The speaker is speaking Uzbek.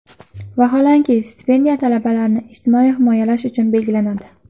Vaholanki, stipendiya talabalarni ijtimoiy himoyalash uchun belgilanadi.